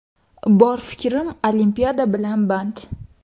Bor fikrim Olimpiada bilan band.